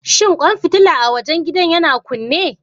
Shin kwan fitila a wajen gidan yana kunne?